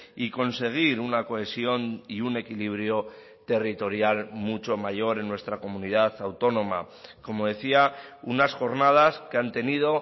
y conseguir una cohesión y un equilibrio territorial mucho mayor en nuestra comunidad autónoma como decía unas jornadas que han tenido